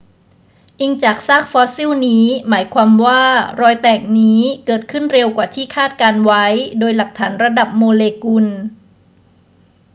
อิงจากซากฟอสซิลนี้ หมายความว่ารอยแตกนี้เกิดขึ้นเร็วกว่าที่คาดการณ์ไว้โดยหลักฐานระดับโมเลกุล